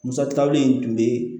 Musaka wuli in tun bɛ